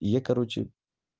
я короче